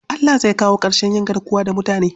Allah zai kawo ƙarshen yin garkuwa da mutane.